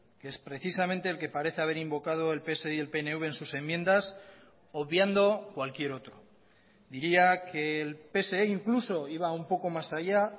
que es precisamente el que parece haber invocado el pse y el pnv en sus enmiendas obviando cualquier otro diría que el pse incluso iba un poco más allá